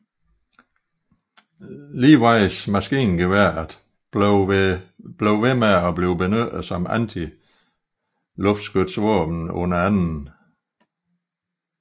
Lewis maskingeværet blev ved med at blive benyttet som antiluftskytsvåben under 2